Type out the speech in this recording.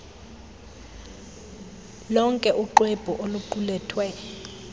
lonke uxwebhu oluqulethwe